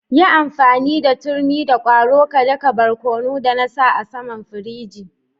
Yi amfani da turmi da kwaro ka da ka barkono da na sa a'saman firiji.